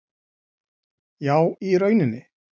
. Já í rauninni.